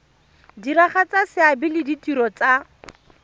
diragatsa seabe le ditiro tsa